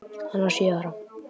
Hann var sjö ára.